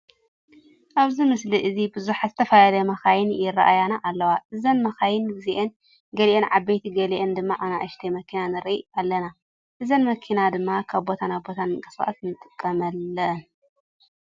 ኣብዚ ምስሊ እዚ ቡዙሓት ዝተፈላለያ መካይን ይረአያና ኣለዋ። እዘን መካይን እዚአን ገሊአን ዓበይቲ ገሊኤን ድማ ኣነኣሽቲ መኪና ንርኢ ኣለና። እዛን መኪና ድማ ካብ ቦታ ናብ ቦታ ንምንቅስቃስ ንጥቀመለን።